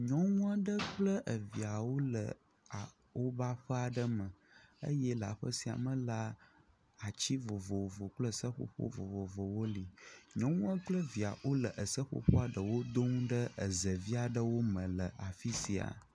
Nyɔnu aɖe kple evia wole woƒe aƒe aɖe me eye le aƒe sia me la, ati vovovo kple seƒoƒo vovovowo li, nyɔnua kple via wole eseƒoƒoa ɖewo dom ɖe zevi aɖewo me le afi sia.